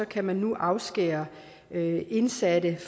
kan man nu afskære indsatte